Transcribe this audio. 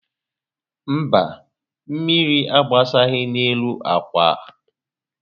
Mba, mmírí agbasaghị n'elu ákwá